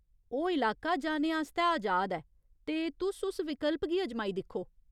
ओह् इलाका जाने आस्तै अजाद ऐ, ते तुस उस विकल्प गी अजमाई दिक्खो।